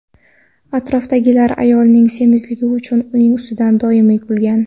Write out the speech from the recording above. Atrofdagilar ayolning semizligi uchun uning ustidan doimiy kulgan.